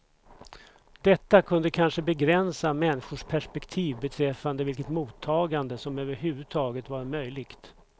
Detta kunde kanske begränsa människors perspektiv beträffande vilket mottagande som överhuvudtaget var möjligt.